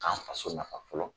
K'an faso nafa fɔlɔ